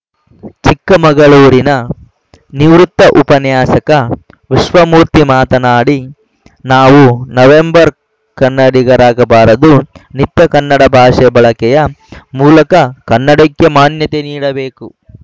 ಚಿಕ್ಕಮಗಳೂರಿನ ನಿವೃತ್ತ ಉಪನ್ಯಾಸಕ ವಿಶ್ವಮೂರ್ತಿ ಮಾತನಾಡಿ ನಾವು ನವೆಂಬರ್‌ ಕನ್ನಡಿಗರಾಗಬಾರದು ನಿತ್ಯ ಕನ್ನಡ ಭಾಷೆ ಬಳಕೆಯ ಮೂಲಕ ಕನ್ನಡಕ್ಕೆ ಮಾನ್ಯತೆ ನೀಡಬೇಕು